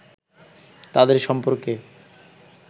তাঁদের সম্পর্কে